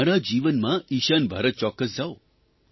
તમારા જીવનમાં ઇશાન ભારત ચોક્કસ જાવ